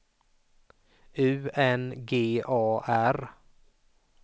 U N G A R